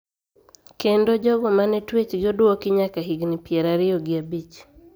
Kendo jogo ma ne twechgi odwoki nyaka higni pier ariyo gi abich